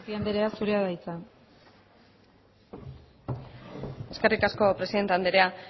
tapia anderea zurea da hitza eskerrik asko presidente anderea